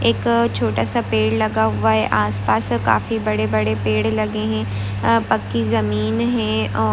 एक छोटा सा पेड़ लगा हुआ हे। आस पास काफी बड़े- बड़े पेड़ लगे है। अ पकी जमीन है।